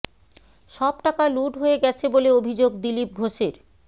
সব টাকা লুট হয়ে গেছে বলে অভিযোগ দিলীপ ঘোষের